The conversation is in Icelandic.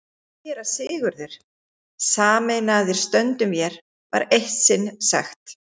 SÉRA SIGURÐUR: Sameinaðir stöndum vér, var eitt sinn sagt.